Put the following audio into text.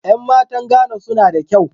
Yan matan "Ghan" su na da kyau.